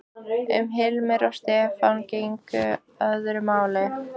Um Hilmar og Stefán gegndi öðru máli.